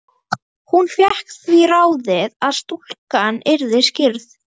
Hún fékk því ráðið að stúlkan yrði skírð